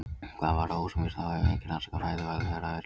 Hvað varðar húsamýs þá hefur enginn rannsakað fæðuval þeirra á Íslandi.